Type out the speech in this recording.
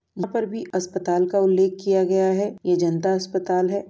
यहाँं पर भी अस्पताल का उल्लेख किया गया है। ये जनता अस्पताल है।